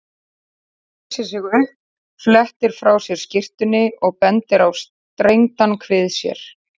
Hann reisir sig upp, flettir frá sér skyrtunni og bendir á strengdan kvið sér.